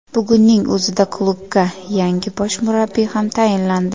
Bugunning o‘zida klubga yangi bosh murabbiy ham tayinlandi.